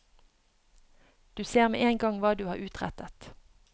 Du ser med en gang hva du har utrettet.